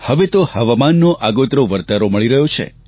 હવે તો હવામાનનો આગોતરો વરતારો મળી રહ્યો છે